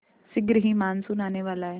शीघ्र ही मानसून आने वाला है